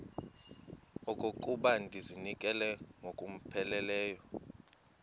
okokuba ndizinikele ngokupheleleyo